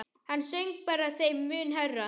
Hann söng bara þeim mun hærra.